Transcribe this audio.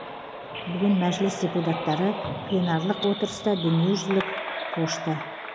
бүгін мәжіліс депутаттары пленарлық отырыста дүниежүзілік пошта